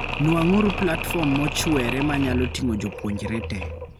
Nuang'uru platform mochweere manyalo ting'o jopuonjre tee.